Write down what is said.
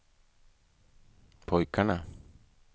pojkarna